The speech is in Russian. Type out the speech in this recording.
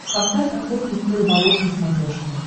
поставь охотник и рыболов на смотрешке